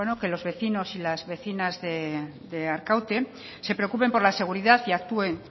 que los vecinos y las vecinas de arkaute se preocupen por la seguridad y actúen